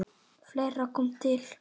Fleira kom til.